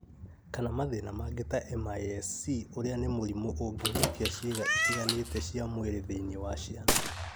kana mathĩna mangĩ ta (MIS-C) ũrĩa nĩ mũrimũ ũngĩhutia ciĩga itiganĩte cia mwĩrĩ thĩinĩ wa ciana.